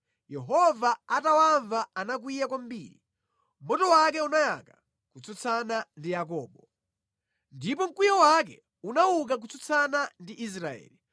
Yehova atawamva anakwiya kwambiri; moto wake unayaka kutsutsana ndi Yakobo, ndipo mkwiyo wake unauka kutsutsana ndi Israeli,